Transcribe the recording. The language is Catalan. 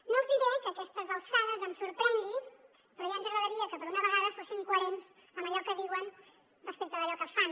no els diré que a aquestes alçades em sorprengui però ja ens agradaria que per una vegada fossin coherents en allò que diuen respecte d’allò que fan